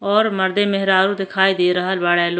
और मर्दे मेहरारू दिखाई दे रहल बाड़े लो --